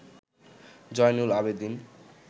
Zainul Abedin